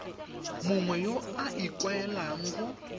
mongwe yo o ikaelelang go